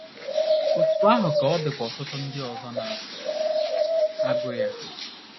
Otú ahụ ka ọ dịkwa ọtụtụ ndị ọzọ na - agụ ya.